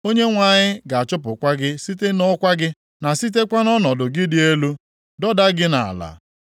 Onyenwe anyị ga-achụpụkwa gị site nʼọkwa gị, na sitekwa nʼọnọdụ gị dị elu, dọda gị nʼala.